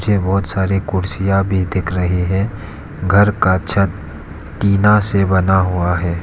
मुझे बहुत सारी कुर्सियां भी दिख रही है घर का छत टीना से बना हुआ है।